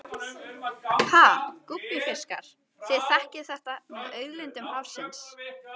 Ha gúbbífiskar, þið þekkið þetta með auðlindir hafsins.